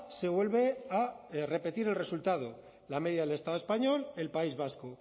se vuelve a repetir el resultado la media del estado español el país vasco